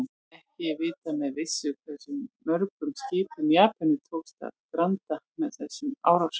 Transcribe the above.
Ekki er vitað með vissu hversu mörgum skipum Japönum tókst að granda með þessum árásum.